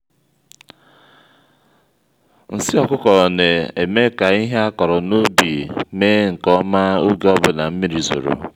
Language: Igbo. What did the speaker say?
nsị ọkụkọ na-eme ka ihe akpọrọ n'ubi mee nke ọma oge ọbụna mmiri zoro